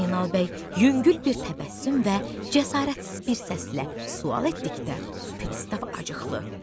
Zeynal bəy yüngül bir təbəssüm və cəsarətsiz bir səslə sual etdikdə, pristav acıqlı.